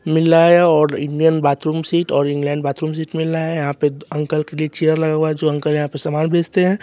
मिल ला है और इंडियन बाथरूम सीट और इंग्लैंड बाथरूम सीट मिल ला है यहां पे अंकल के चेयर लगा हुआ है जो अंकल यहां पे समान बेचते हैं।